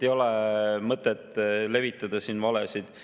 Ei ole mõtet levitada siin valesid.